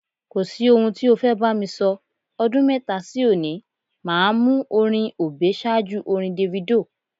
Kò sí ohun tí o fẹ́ bá mi sọ, ọdún mẹ́fà sí òní, màá mú orin Obey ṣáájú orin Davido.